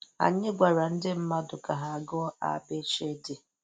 Anyị gwara ndị mmadụ ka ha gụọ 'a b ch d'.